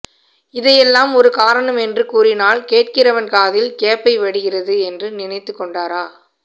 இதை எல்லாம் ஒரு காரணம் என்று கூறினால் கேட்கிறவன் காதில் கேப்பை வடிகிறது என்று நினைத்து கொண்டாரா